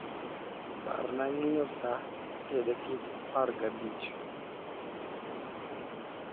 parna ng'iyo saa e dakilka apargi abich